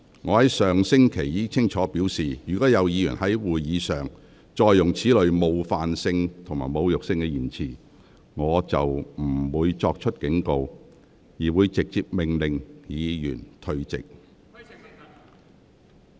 我上星期已清楚表示，若有議員再次在會議上使用此類具冒犯性或侮辱性的言詞，我將不會再作警告，而會直接命令有關議員退席。